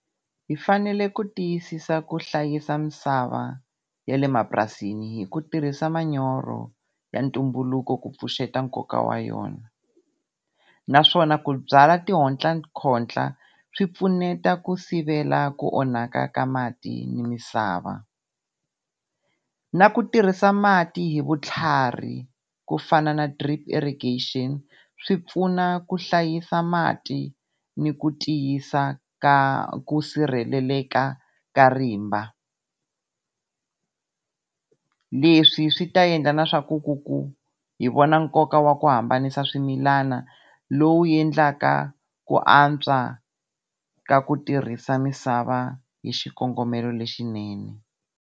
Hi fanele ku tiyisisa ku hlayisa misava ya le mapurasini hi ku tirhisa manyoro ya ntumbuluko ku pfuxeta nkoka wa yona. Naswona ku byala tihotla khotla swi pfuneta ku sivela ku onhaka ka mati ni misava. Na ku tirhisa mati hi vutlhari ku fana na drip irrigation swi pfuna ku hlayisa mati ni ku tiyisa ka ku sirheleleka ka rimba. Leswi swi ta endla na swaku ku ku hi vona nkoka wa ku hambanisa swimilana lowu endlaka ku antswa ka ku tirhisa misava hi xikongomelo lexinene.